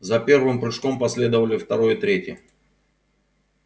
за первым прыжком последовали второй и третий